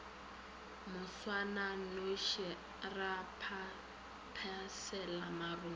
moswananoši ra phaphasela marung ka